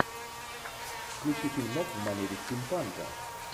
включи фильмок в манере стимпанка